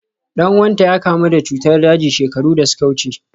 Dan uwanta ya kamu da cutar daji shekaru da suka wuce.